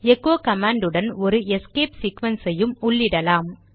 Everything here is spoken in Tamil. எகோ கமாண்ட் உடன் ஒரு எஸ்கேப் சீக்வென்ஸ் ஐயும் உள்ளிடலாம்